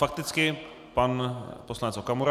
Fakticky pan poslanec Okamura.